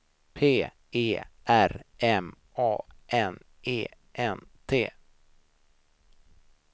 P E R M A N E N T